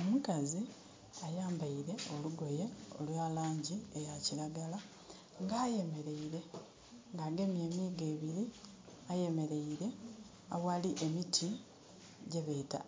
Omukazi ayambaile olugoye olwa laangi eya kiragala. Nga ayemeleire, nga agemye emiigo ebili, ayemeleire aghali emiti gyebeeta